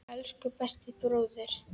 Elsku besti bróðir.